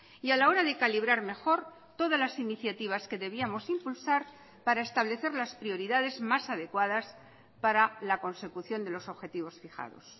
y a la hora de calibrar mejor todas las iniciativas que debíamos impulsar para establecer las prioridades más adecuadas para la consecución de los objetivos fijados